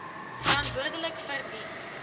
verantwoordelik vir die